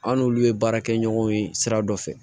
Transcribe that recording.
An n'olu ye baarakɛɲɔgɔnw ye sira dɔ fɛ